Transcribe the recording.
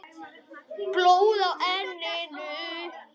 Blóð á enninu.